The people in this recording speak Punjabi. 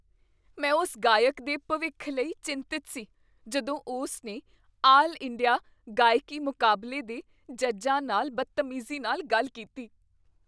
ਮੈਂ ਉਸ ਗਾਇਕ ਦੇ ਭਵਿੱਖ ਲਈ ਚਿੰਤਤ ਸੀ ਜਦੋਂ ਉਸ ਨੇ ਆਲ ਇੰਡੀਆ ਗਾਇਕੀ ਮੁਕਾਬਲੇ ਦੇ ਜੱਜਾਂ ਨਾਲ ਬਦਤਮੀਜੀ ਨਾਲ ਗੱਲ ਕੀਤੀ।